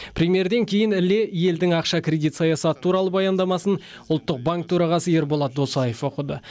премьерден кейін іле елдің ақша кредит саясаты туралы баяндамасын ұлттық банк төрағасы ерболат досаев оқыды